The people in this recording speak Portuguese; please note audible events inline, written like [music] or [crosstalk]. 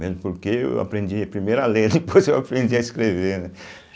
Mesmo porque eu aprendi primeiro a ler, [laughs] depois eu aprendi a escrever, né.